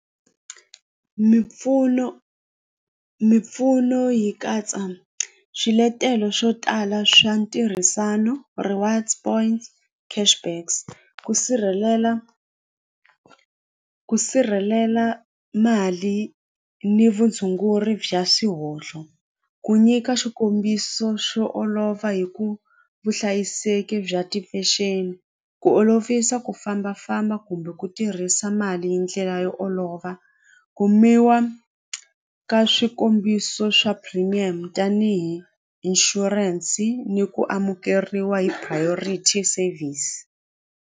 Mimpfuno mimpfuno yi katsa swiletelo swo tala swa ntirhisano rewards point cash backs ku sirhelela ku sirhelela mali ni vutshunguri bya swihohlo ku nyika xikombiso xo olova hi ku vuhlayiseki bya tifexeni ku olovisa ku fambafamba kumbe ku tirhisa mali hi ndlela yo olova kumiwa ka swikombiso swa premium tanihi insurance ni ku amukeriwa hi priority service.